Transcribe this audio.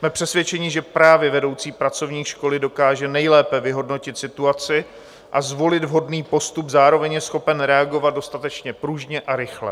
Jsme přesvědčeni, že právě vedoucí pracovník školy dokáže nejlépe vyhodnotit situaci a zvolit vhodný postup, zároveň je schopen reagovat dostatečně pružně a rychle.